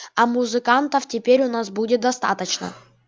а музыкантов теперь у нас будет достаточно